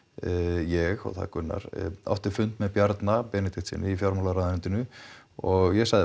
ég og það er Gunnar átti fund með Bjarna Benediktssyni í fjármálaráðuneytinu og ég sagði við